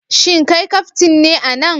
Shin kai kaftin ne a nan?